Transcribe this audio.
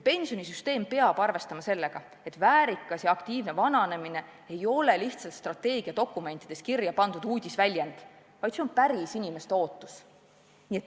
Pensionisüsteem peab arvestama sellega, et väärikas ja aktiivne vananemine ei ole lihtsalt strateegiadokumentides kirja pandud uudisväljend, vaid see on päriselt inimeste ootus.